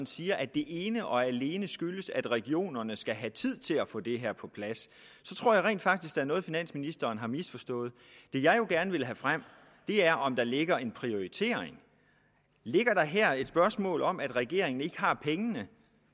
siger at det ene og alene skyldes at regionerne skal have tid til at få det her på plads så tror jeg rent faktisk der er noget finansministeren har misforstået det jeg jo gerne vil have frem er om der ligger en prioritering ligger der her et spørgsmål om at regeringen ikke har pengene